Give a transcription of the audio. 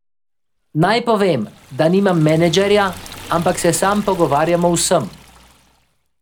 Naj povem, da nimam menedžerja, ampak se sam pogovarjam o vsem.